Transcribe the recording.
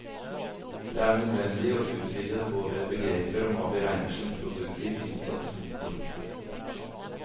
Det er nødvendig å utvide våre begreper om hva vi regner som produktiv innsats. punktum